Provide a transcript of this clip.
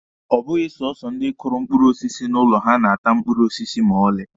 Ọ bụghị sọsọ ndi kụrụ mkpụrụ osisi n'ụlọ ha na-ata mkpụrụ osisi ma ọlị.